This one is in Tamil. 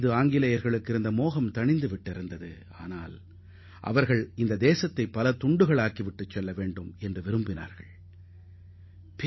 ஆங்கிலேயர்கள் இந்தியாவின் மீது அக்கறையின்றி காணப்பட்டனர் அவர்கள் நாட்டை விட்டு வெளியேறும் போது இந்தியா பல்வேறு துண்டுகளாக உடைய வேண்டும் என்ற எண்ணத்தில் இருந்தனர்